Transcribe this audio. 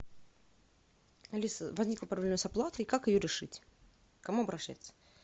алиса возникла проблема с оплатой как ее решить к кому обращаться